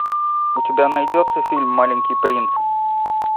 у тебя найдется фильм маленький принц